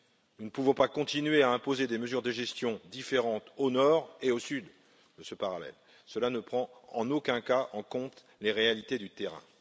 Nous ne pouvons pas continuer à imposer des mesures de gestion différentes au nord et au sud de ce parallèle, cela ne prend en aucun cas en compte les réalités du terrain.